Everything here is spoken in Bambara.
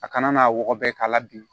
A kana n'a wɔgɔbɛ k'a la bin